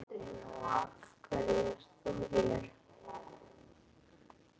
Katrín: Og af hverju ert þú hér?